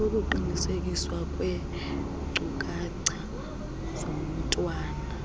ukuqinisekiswa kweenkcukacha zomntwana